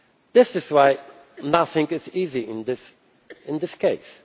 This is why nothing is easy in this